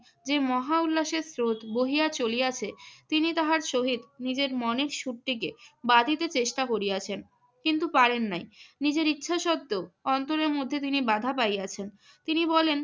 যে মহা উল্লাসের স্রোত বহিয়া চলিয়াছে তিনি তাহার সহিত নিজের মনের সুরটিকে বাঁধিতে চেষ্টা করিয়াছেন। কিন্তু পারেন নাই। নিজের ইচ্ছা সত্ত্বেও অন্তরের মধ্যে তিনি বাধা পাইয়াছেন। তিনি বলেন,